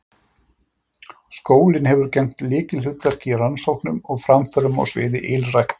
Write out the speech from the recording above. Skólinn hefur gegnt lykilhlutverki í rannsóknum og framförum á sviði ylræktar.